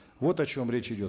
вот о чем речь идет